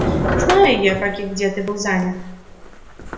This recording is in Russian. знаю я как и где ты был занят